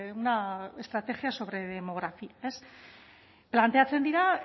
una estrategia sobre demografía planteatzen dira